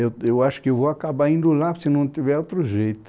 Eu eu acho que vou acabar indo lá se não tiver outro jeito.